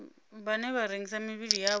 vhane vha rengisa mivhili yavho